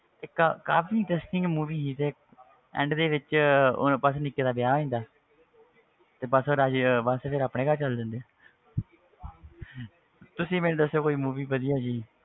ਇੱਕ ਕਾਫ਼ੀ interesting movie ਸੀ ਤੇ end ਦੇ ਵਿੱਚ ਉਹ ਬਸ ਨਿੱਕੇ ਦਾ ਵਿਆਹ ਹੋ ਜਾਂਦਾ ਹੈ ਤੇ ਬਸ ਉਹ ਬਸ ਫਿਰ ਆਪਣੇ ਘਰ ਚਲੇ ਜਾਂਦੇ ਆ ਤੁਸੀਂ ਮੈਨੂੰ ਦੱਸੋ ਕੋਈ movie ਵਧੀਆ ਜਿਹੀ